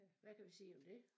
Hvad kan vi sige om det?